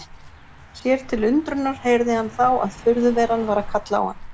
Sér til undrunar heyrði hann þá að furðuveran var að kalla á hann.